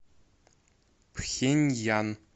пхеньян